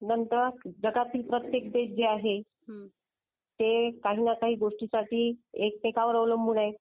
नंतर जगातील प्रत्येक देश जी आहे. ते काही ना काही गोष्टीसाठी एकमेकांवर अवलंबून आहे.